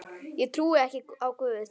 Ég trúi ekki á Guð.